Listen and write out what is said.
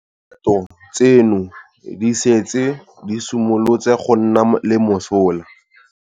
Dikgato tseno di setse di simolotse go nna le mosola.